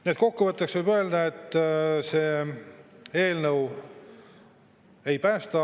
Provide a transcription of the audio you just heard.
Nii et kokkuvõtteks võib öelda, et see eelnõu ei päästa.